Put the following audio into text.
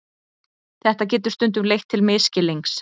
Þetta getur stundum leitt til misskilnings.